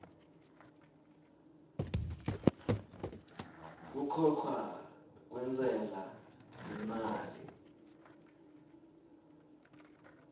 kukhokha kwentsela yemali